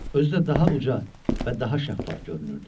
Özü də daha uca və daha şəffaf görünürdü.